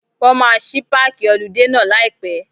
Wọ́n máa ṣí páàkì họludé náà láì pẹ́.